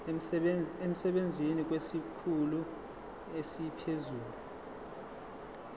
emsebenzini kwesikhulu esiphezulu